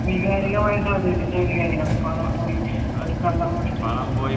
വൈകാരികമായിട്ടു അവതരിപ്പിച്ചാൽ മതി കാര്യങ്ങൾ പണം പോയി ഒരു കള്ളൻ മോഷ്ടിച്ച്